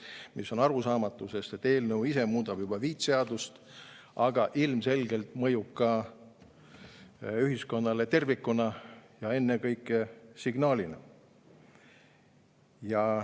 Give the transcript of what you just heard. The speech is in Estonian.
See on arusaamatu, sest et eelnõu ise muudab juba viit seadust, aga ilmselgelt mõjub ühiskonnale tervikuna, ja ennekõike signaalina.